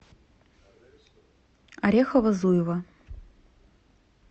орехово зуево